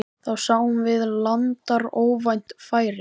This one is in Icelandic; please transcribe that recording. Þar sáum við landar óvænt færi.